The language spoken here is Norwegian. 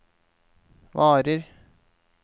varer